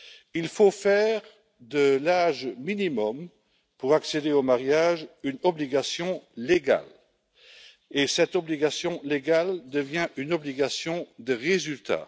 Il faut faire de l'âge minimum pour accéder au mariage une obligation juridique et cette obligation juridique devient une obligation de résultat.